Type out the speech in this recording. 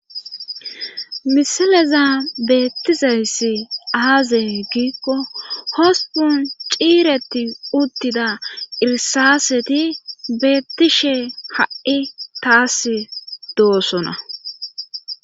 Misaleza beettizayssi aazey giikko hospun ciireti uttida irsaaseti beettishe ha'i taas doosona